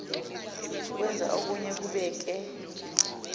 kwenza okuye kubeke